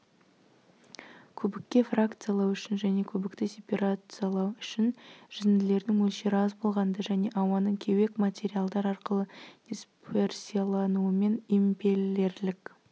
көбікке фракциялау үшін және көбікті сеперациялау үшін жүзінділердің мөлшері аз болғанда және ауаның кеуек материалдар арқылы дисперсиялануымен импеллерлік